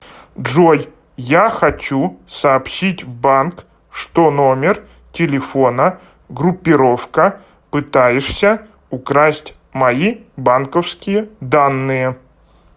джой я хочу сообщить в банк что номер телефона группировка пытаешься украсть мои банковские данные